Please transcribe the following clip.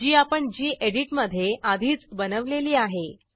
जी आपण गेडीत मधे आधीच बनवलेली आहे